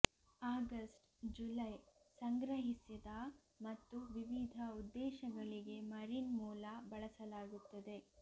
August July ಸಂಗ್ರಹಿಸಿದ ಮತ್ತು ವಿವಿಧ ಉದ್ದೇಶಗಳಿಗೆ ಮರಿನ್ ಮೂಲ ಬಳಸಲಾಗುತ್ತದೆ